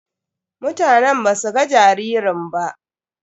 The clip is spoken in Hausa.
Mutanen ba su ga jaririn ba.